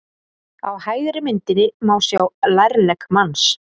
Á hægri myndinni má sjá lærlegg manns.